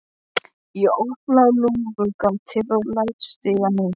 Ég opna lúgugatið og læt stigann síga.